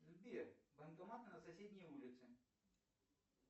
сбер банкомат на соседней улице